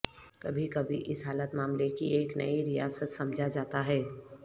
کبھی کبھی اس حالت معاملے کی ایک نئی ریاست سمجھا جاتا ہے